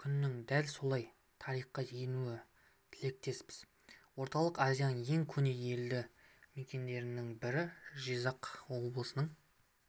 күннің дәл солай тарихқа енуіне тілектеспіз орталық азияның ең көне елді мекендерінің бірі жизақ облысының